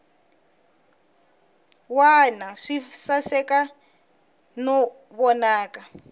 wana swi saseka no vonaka